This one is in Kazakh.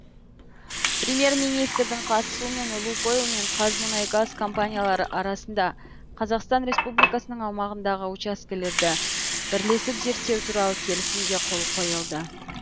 премьер министрдің қатысуымен лукойл мен қазмұнайгаз компаниялары арасында қазақстан республикасының аумағындағы учаскелерді бірлесіп зерттеу туралы келісімге қол қойылды